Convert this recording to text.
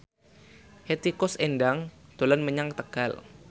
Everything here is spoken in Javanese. Hetty Koes Endang dolan menyang Tegal